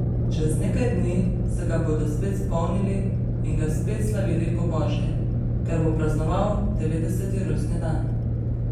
Čez nekaj dni se ga bodo spet spomnili in ga spet slavili po božje, ker bo praznoval devetdeseti rojstni dan.